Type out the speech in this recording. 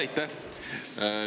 Aitäh!